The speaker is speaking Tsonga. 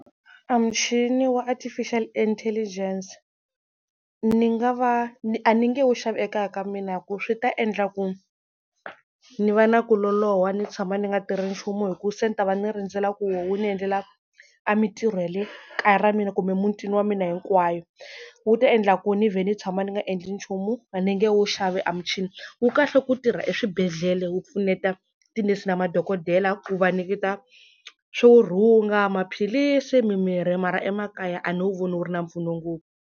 A muchini wa Artificial Intelligence ni nga va ni a ni nge wu xavi ekaya ka mina, hi ku swi ta endla ku ni va na ku loloha ni tshama ni nga tirhi nchumu, hi ku se ni ta va ni rindzela ku wo wu ni endlela a mintirho ya le kaya ra mina kumbe mutini wa mina hinkwayo. Wu ta endla ku ni vhe ni tshama ni nga endli nchumu a ni nge wu xavi a muchini. Wu kahle ku tirha eswibedhlele wu pfuneta tinese na madokodela ku va nyiketa swo rhunga, maphilisi mimirhi, mara emakaya a ni wu vona wu ri na mpfuno ngopfu.